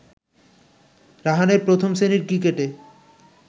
রাহানের প্রথম শ্রেণীর ক্রিকেটে